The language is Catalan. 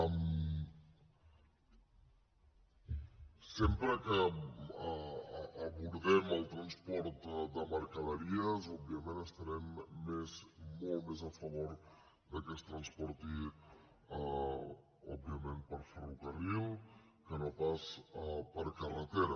sempre que abordem el transport de mercaderies òbviament estarem molt més a favor que es transportin òbviament per ferrocarril que no pas per carretera